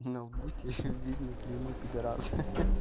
ну лбу теперь видно клеймо пидараса ха-ха